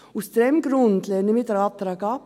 Aus diesem Grund lehnen wir diesen Antrag ab.